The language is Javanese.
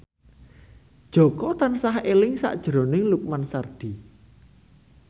Jaka tansah eling sakjroning Lukman Sardi